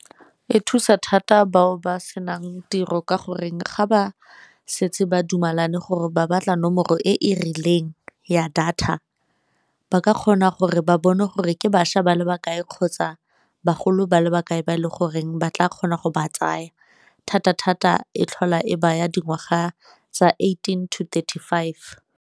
E thusa thata bao ba senang tiro ka goreng ga ba setse ba dumalane gore ba batla nomoro e e rileng ya data, ba ka kgona gore ba bone gore ke bašwa ba le ba kae kgotsa bagolo ba le ba kae ba e le goreng ba tla kgona go ba tsaya, thata-thata e tlhola e baya dingwaga tsa eighteen to thirty-five.